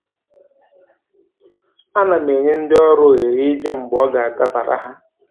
A na m enye ndị ọrụ ohere ịbịa mgbe ọ ga-adabara ha